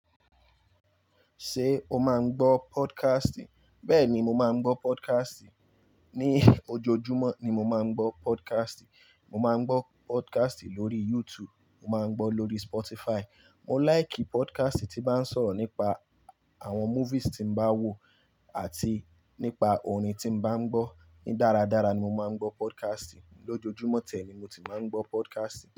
Ṣé o máa ń gbọ́ podcast? Bẹ́ẹ̀ni, mo máa ń gbọ́ podcast. Ni ojoojúmọ́ ni mo máa ń gbọ́ podcast. Mo máa ń gbọ́ podcast lórí YouTube, mo máa ń gbọ́ lórí Spotify. Mo láìkì podcast tí ń bá sọ̀rọ̀ nípa àwọn movies tí ń bá wò àti nípa orin tí mo bá ń gbọ́. Ní dáradára ni mo máa ń gbọ́ podcast. Lójojúmọ́ ti ẹ̀ ni mo ti máa ń gbọ́ podcast.